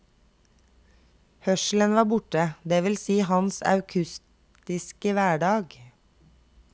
Hørselen var borte, det vil si hans akustiske hverdag.